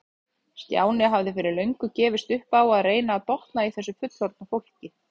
Stjáni hafði fyrir löngu gefist upp á að reyna að botna í þessu fullorðna fólki.